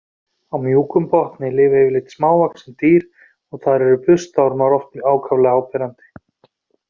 Á mjúkum botni lifa yfirleitt smávaxin dýr og þar eru burstaormar oft ákaflega áberandi.